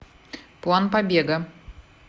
план побега